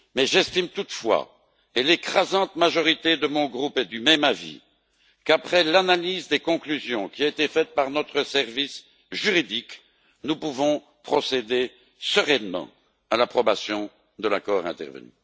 J'estime toutefois et l'écrasante majorité de mon groupe est du même avis qu'après l'analyse des conclusions qui a été faite par notre service juridique, nous pouvons procéder sereinement à l'approbation de l'accord intervenu.